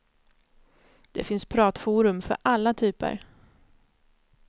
Det finns pratforum för alla typer.